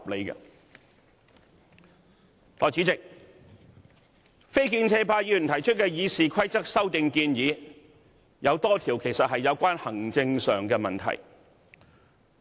代理主席，非建制派議員提出的《議事規則》修訂建議，有多項其實屬行政問題。